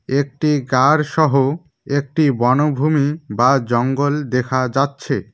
একটি গার সহ একটি বনভূমি বা জঙ্গল দেখা যাচ্ছে।